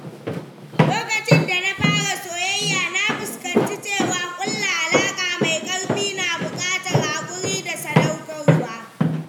Lokacin da na fara soyayya, na fahimci cewa ƙulla alaƙa mai ƙarfi na buƙatar haƙuri da sadaukarwa.